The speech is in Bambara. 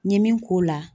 N ye min k'o la